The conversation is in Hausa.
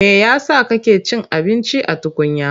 Me ya sa kake cin abinci a tukunya?